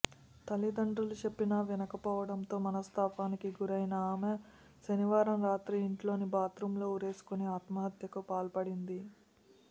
తల్లిదండ్రులు చెప్పినా వినక పోవడంతో మనస్తాపానికి గురైన ఆమె శనివారం రాత్రి ఇంట్లోని బాత్రూంలో ఉరేసుకొని ఆత్మహత్యకు పాల్పడింది